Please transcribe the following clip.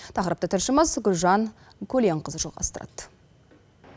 тақырыпты тілші гүлжан көленқызы жалғастырады